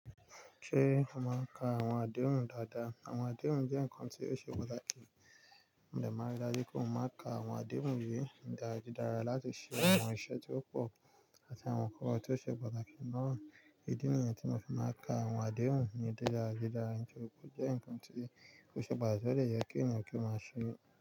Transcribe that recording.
Ṣé a máa ń ka àwọn àdéhùn dáadáa? Àwọn àdéhùn jẹ́ nǹkan tí ó ṣe pàtàkì, mò dẹ̀ máa rí i dájú pé mo máa n ka àwọn àdéhùn yìí ní dáadáa láti ṣe àwọn iṣẹ́ tí ó pọ̀ àti àwọn ǹkan tí ó ṣe pàtàkì náà. Ìdí nìyẹn tí mo fi máa ń ka àwọn àdéhùn ní dáadáa, ó jẹ́ nǹkan tí ò ṣe pàtaki odè jẹ kí ènìyàn kí ó máa ṣe.